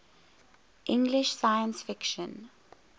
english science fiction